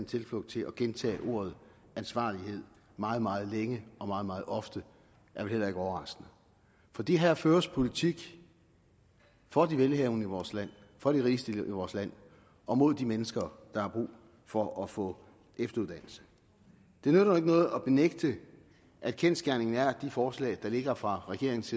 tilflugt i at gentage ordet ansvarlighed meget meget længe og meget meget ofte er vel heller ikke overraskende fordi her føres politik for de velhavende i vores land for de rigeste i vores land og mod de mennesker der har brug for at få efteruddannelse det nytter jo ikke noget at benægte at kendsgerningen er at forslag der ligger fra regeringens